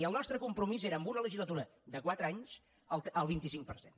i el nostre compromís era en una legislatura de quatre anys el vint cinc per cent